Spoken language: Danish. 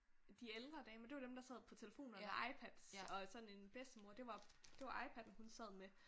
De ældre damer det var dem der sad på telefonerne og iPads og sådan en bedstemor det var iPad'en hun sad med